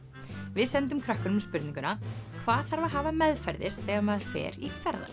við sendum krökkunum spurninguna hvað þarf að hafa meðferðis þegar maður fer í ferðalag